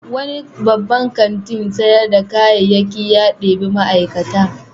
Wani babban kantin sayar da kayayyaki ya ɗebi ma'aikata.